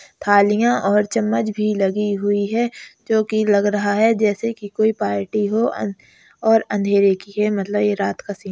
थालियाँ और चम्मच भी लगी हुईं हैं। जो की लग रहा है। जैसे की कोई पार्टी हो और अंधेरे की है। मतलब ये रात का सीन है।